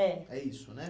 É. É isso, né?